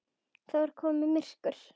Það var komið myrkur.